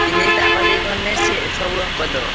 ଚିହ୍ନି ଯାଇଛି ତା କତିକି ଗଲେ ସିଏ ସବୁ ବା କରିଦବ।